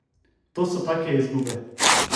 To so take izgube.